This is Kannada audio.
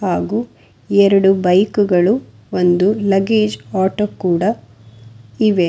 ಹಾಗೂ ಎರಡು ಬೈಕ್ ಗಳು ಒಂದು ಲಗೇಜ್ ಆಟೋ ಕೂಡ ಇವೆ.